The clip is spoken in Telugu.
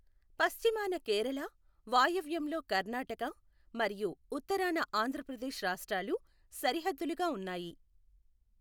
పశ్చిమాన కేరళ, వాయవ్యంలో కర్ణాటక, మరియు ఉత్తరాన ఆంధ్రప్రదేశ్ రాష్ట్రాలు సరిహద్దులుగా ఉన్నాయి.